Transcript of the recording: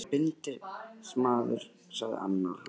Þetta er örugglega bindindismaður, sagði annar og hló.